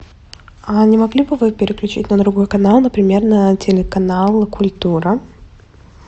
а не могли бы вы переключить на другой канал например на телеканал культура